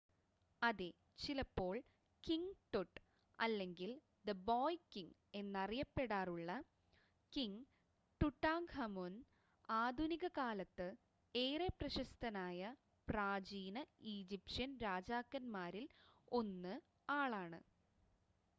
"അതെ! ചിലപ്പോൾ "king Tut" അല്ലെങ്കിൽ "ദി ബോയ് കിംങ്" എന്ന് അറിയപ്പെടാറുള്ള കിംങ് ടുടാങ്ക്ഹമുൻ ആധുനിക കാലത്ത് ഏറെ പ്രശസ്തനായ പ്രാചീന ഈജിപ്ഷ്യൻ രാജാക്കൻമാരിൽ 1 ആളാണ്